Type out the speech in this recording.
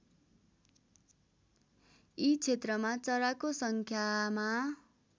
यी क्षेत्रमा चराको सङ्ख्यामा